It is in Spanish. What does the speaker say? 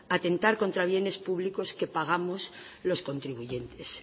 atentar contra bienes públicos que pagamos los contribuyentes